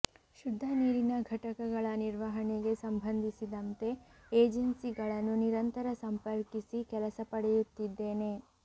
ಶುದ್ಧ ನೀರಿನ ಘಟಕಗಳ ನಿರ್ವಹಣೆಗೆ ಸಂಬಂಧಿಸಿದಂತೆ ಏಜೆನ್ಸಿಗಳನ್ನು ನಿರಂತರ ಸಂಪರ್ಕಿಸಿ ಕೆಲಸ ಪಡೆಯುತ್ತಿದ್ದೇನೆ